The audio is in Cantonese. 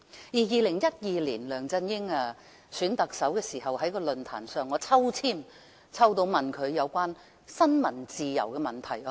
2012年，梁振英在競選特首時，我曾有機會在選舉論壇上向他提出有關新聞自由的問題。